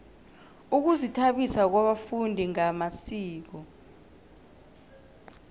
ukuzithabisa kwabafundi ngamasiko